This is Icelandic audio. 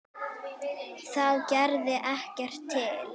Það gerði ekkert til.